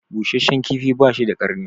Busheshshen kifi bashi da karni